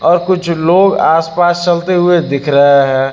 और कुछ लोग आस पास चलते हुए दिख रहे हैं।